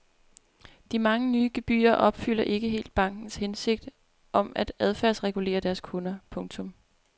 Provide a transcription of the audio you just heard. De mange nye gebyrer opfylder ikke helt bankernes hensigt om at adfærdsregulere deres kunder. punktum